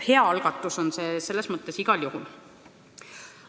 Hea algatus on see selles mõttes igal juhul.